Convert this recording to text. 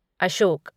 Ashok